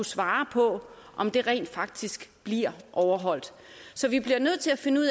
svare på om det rent faktisk bliver overholdt så vi bliver nødt til at finde ud